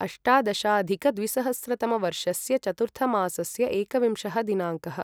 अष्टादशाधिकद्विसहस्रतमवर्षस्य चतुर्थमासस्य एकविंशः दिनाङ्कः